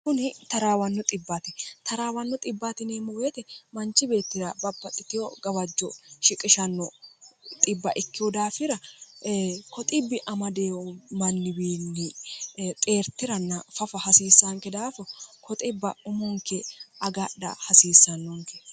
kuni taraawanno taraawanno bemmoweete manchi beettira baaxitiho gawajjo shiqishnno ikkihu daafira koxbbi amadeo manniwiinni xeertiranna fafa hasiissaanke daafo koxibba umunke agadha hasiissannonke